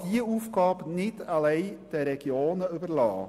Man kann diese Aufgabe nicht alleine den Regionen überlassen.